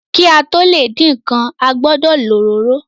Ki a to le din nkán, a gbọdọ lo òróró.